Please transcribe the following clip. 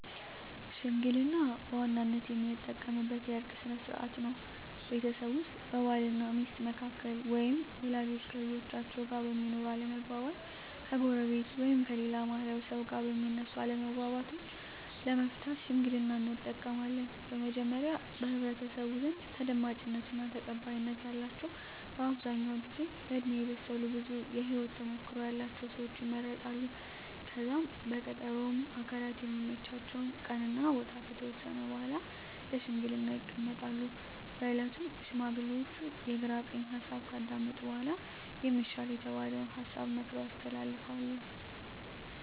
ሽምግልና በዋናነት የምንጠቀምበት የእርቅ ስነ ስርዓት ነው። ቤተሰብ ውስጥ በባል እና ሚስት መካከል ወይም ወላጆች ከልጆቻቸው ጋር በሚኖር አለመግባባት፣ ከጎረቤት ወይም ከሌላ ማህበረሰብ ጋር በሚነሱ አለመግባባቶች ለመፍታት ሽምግልናን እንጠቀማለን። በመጀመሪያ በህብረተሰቡ ዘንድ ተደማጭነት እና ተቀባይነት ያላቸው በአብዛኛው ጊዜ በእድሜ የበሰሉ ብዙ የህወት ተሞክሮ ያለቸው ሰወች ይመረጣሉ። ከዛም በቀጠሮ ሁምም አካላት የሚመቻቸውን ቀን እና ቦታ ከተወሰነ በኃላ ለሽምግልና ይቀመጣሉ። በእለቱም ሽማግሌዎቹ የግራ ቀኝ ሀሳብ ካዳመጡ በኃላ የሚሻል የተባለውን ሀሳብ መክረው ያስተላልፋሉ።